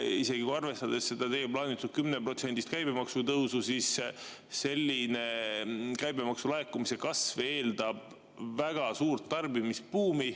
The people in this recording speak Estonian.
Ent isegi arvestades seda teie plaanitud 10%-list käibemaksu tõusu, eeldab selline käibemaksu laekumise kasv väga suurt tarbimisbuumi.